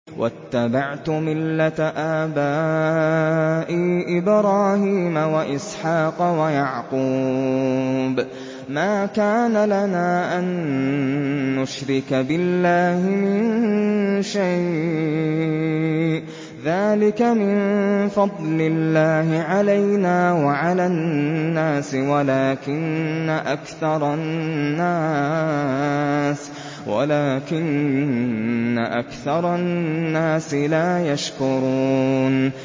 وَاتَّبَعْتُ مِلَّةَ آبَائِي إِبْرَاهِيمَ وَإِسْحَاقَ وَيَعْقُوبَ ۚ مَا كَانَ لَنَا أَن نُّشْرِكَ بِاللَّهِ مِن شَيْءٍ ۚ ذَٰلِكَ مِن فَضْلِ اللَّهِ عَلَيْنَا وَعَلَى النَّاسِ وَلَٰكِنَّ أَكْثَرَ النَّاسِ لَا يَشْكُرُونَ